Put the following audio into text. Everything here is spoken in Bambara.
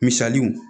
Misaliw